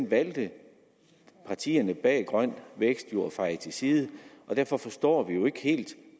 valgte partierne bag grøn vækst jo at feje til side og derfor forstår vi jo ikke helt